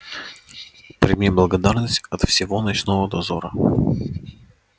прими благодарность от всего ночного дозора